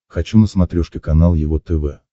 хочу на смотрешке канал его тв